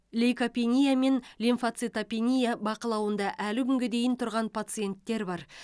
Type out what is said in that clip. лейкопения мен лимфоцитопения бақылауында әлі күнге дейін тұрған пациенттер бар